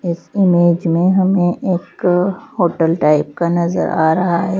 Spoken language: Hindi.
इस इमेज में हमें एक होटल टाइप का नजर आ रहा है।